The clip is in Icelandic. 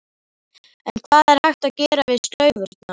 En hvað er hægt að gera við slaufurnar?